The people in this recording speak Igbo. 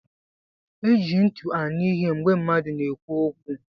E ji ntị anụ ihe mgbe mmadụ na-ekwu okwu